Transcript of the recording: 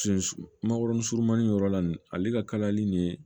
Sunsu makɔrɔni yɔrɔ la nin ale ka kalayali nin